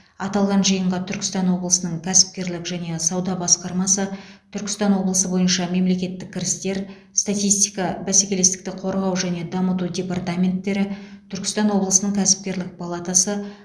аталған жиынға түркістан облысының кәсіпкерлік және сауда басқармасы түркістан облысы бойынша мемлекеттік кірістер статистика бәсекелестікті қорғау және дамыту департаменттері түркістан облысының кәсіпкерлік палатасы